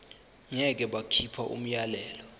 ngeke bakhipha umyalelo